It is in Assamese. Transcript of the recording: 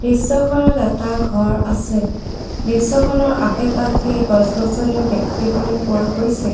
দৃশ্যখনত এটা ঘৰ আছে দৃশ্যখনৰ আশে-পাশে গছ-গছনিও দেখিবলৈ পোৱা গৈছে।